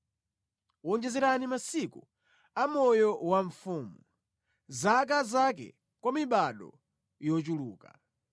Wonjezerani masiku a moyo wa mfumu, zaka zake kwa mibado yochuluka.